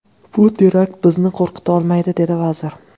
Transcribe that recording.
Bu terakt bizni qo‘rqita olmaydi”, dedi vazir.